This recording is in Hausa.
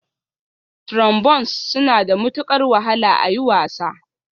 Trombones suna da matukar wahala a yi wasa